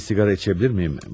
Bir siqara içə bilir miyim?